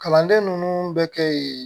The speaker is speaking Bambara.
Kalanden ninnu bɛ kɛ yen